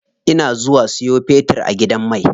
Ina zuwa siyo fetir a gidan mai.